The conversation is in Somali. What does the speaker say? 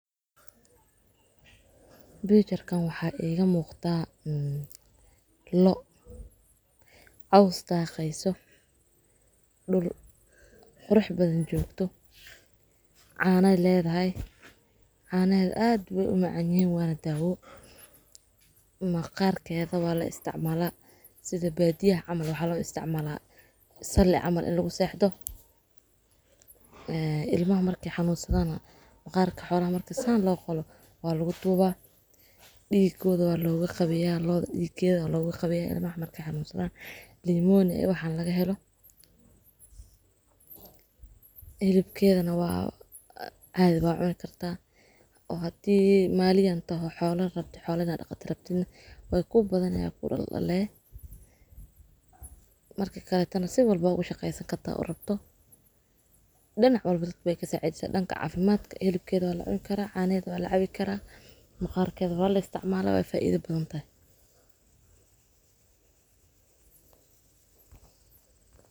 Biijar kan waxa eega muuqda mm lo caws taqaayso dhul xurux badan joogto caanee leedahay caanee aad weh u macan yahiin waana daawo. Ma qaarka aad waa la isticmaala. Sida baadi ah camal waxa la isticmaalaa sali camal in lagu seexdo. Ee ilmo markay xanuunsadaan, ma qaarka xoola markay saan loo qolo waa lagu tuubaa. Dhiigooda waa looga qabeyaa, lo dhiigeeda looga qabeyaa ilmah markay xanuunsadaan. Liimoon ayuu waxaan laga helo. Helibkeeda na waa ahayd waa cuun kartaa oo haddii maaliyeyn toho xoolan rabti xoolana dhakhati rabtin way ku badan ayuu ku dhallaan lee. Markii ka hor intana si walbo ugu shaqaysta kataa u rabto. Dhanna walba dad bay kasoo cajisa dhanka cafimaadka. Helib keeda waa la ciyan karaa, caanee waa la cabi karaa. Ma qaarka waa la isticmaalaa way faa'iido badan tahay.